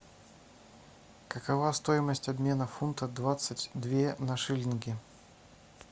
какова стоимость обмена фунтов двадцать две на шиллинги